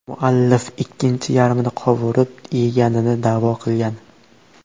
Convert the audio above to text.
Muallif ikkinchi yarmini qovurib yeganini da’vo qilgan.